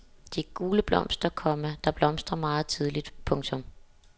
De gule blomster, komma der blomstrer meget tidligt. punktum